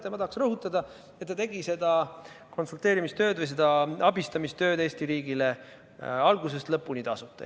Ja ma tahan rõhutada, et ta tegi seda konsulteerimistööd või seda abistamistööd Eesti riigile algusest lõpuni tasuta.